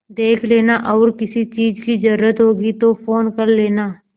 देख लेना और किसी चीज की जरूरत होगी तो फ़ोन कर लेना